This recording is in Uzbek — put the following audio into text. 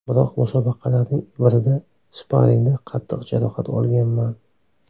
Biroq musobaqalarning birida sparingda qattiq jarohat olganman.